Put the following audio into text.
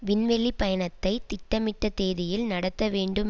விண்வெளி பயணத்தை திட்டமிட்ட தேதியில் நடத்தவேண்டும்